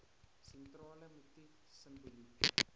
sentrale motief simboliek